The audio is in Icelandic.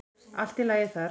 Allt í lagi þar.